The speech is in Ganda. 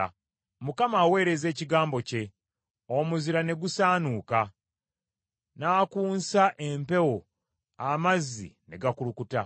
Mukama aweereza ekigambo kye, omuzira ne gusaanuuka; n’akunsa empewo, amazzi ne gakulukuta.